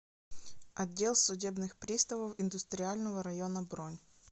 отдел судебных приставов индустриального района бронь